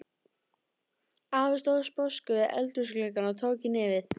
Afi stóð sposkur við eldhúsgluggann og tók í nefið.